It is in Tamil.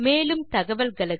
மேலும் தகவல்களுக்கு